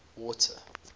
water